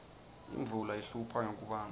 imvula ihlupha ngekubandza